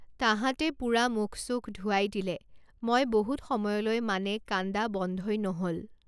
তাহাঁতে পুৰা মুখ চুখ ধুৱাই দিলে মই বহুত সময়লৈ মানে কান্দা বন্ধই নহ'ল।